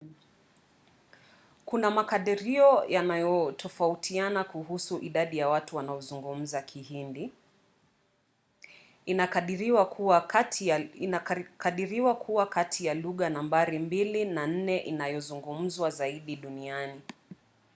kuna makadirio yanayotofautiana kuhusu idadi ya watu wanaozungumza kihindi. inakadiriwa kuwa kati ya lugha nambari mbili na nne inayozungumzwa zaidi duniani